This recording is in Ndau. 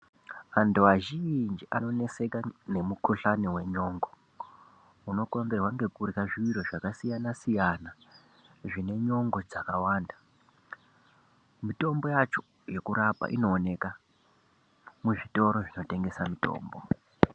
Antu azhinji anoneseka nemukuhlani wenyongo unokonzerwa nekurya zviro zvakasiyana siyana zvine nyongo dzakawanda mutombo yacho yekurapa inoonekwa muzvitoro zvinotengeswa mitombo.